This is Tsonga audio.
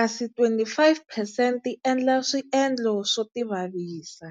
kasi 25 percent ti endla swiendlo swo tivavisa.